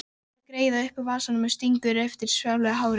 Dregur greiðu upp úr vasanum og strýkur yfir svartgljáandi hárið.